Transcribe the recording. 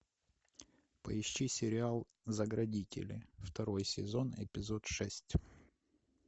поищи сериал заградители второй сезон эпизод шесть